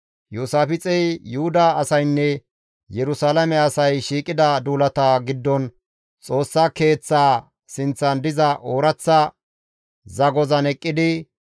Iyoosaafixey Yuhuda asaynne Yerusalaame asay shiiqida duulata giddon Xoossa keeththaa sinththan diza ooraththa zagozan eqqidi,